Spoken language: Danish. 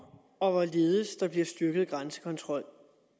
og hvorledes der fremadrettet bliver styrket grænsekontrol